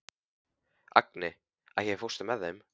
Agni, ekki fórstu með þeim?